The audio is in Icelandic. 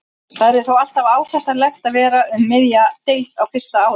Það yrði þó alltaf ásættanlegt að vera um miðja deild á fyrsta ári.